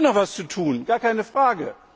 Es gibt noch etwas zu tun, gar keine Frage.